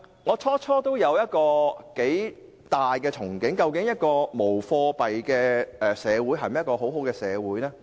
我最初也頗有憧憬，想知道無貨幣社會是否一個先進的社會？